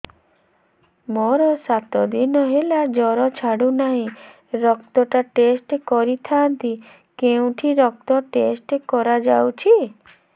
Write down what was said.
ମୋରୋ ସାତ ଦିନ ହେଲା ଜ୍ଵର ଛାଡୁନାହିଁ ରକ୍ତ ଟା ଟେଷ୍ଟ କରିଥାନ୍ତି କେଉଁଠି ରକ୍ତ ଟେଷ୍ଟ କରା ଯାଉଛି